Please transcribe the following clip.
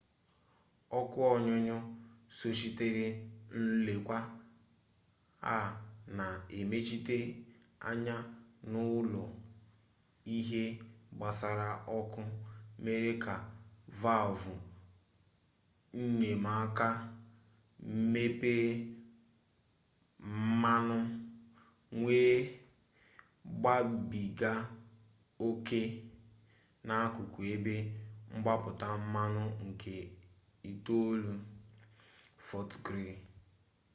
ọkụ ọnyụnyụ sochitere nlekwa a na emechite anya n'ụlọ ihe gbasara ọkụ mere ka valvụ enyemaka mepee mmanụ wee gbabiga oke n'akụkụ ebe mgbapụta mmanụ nke itolu fọt griili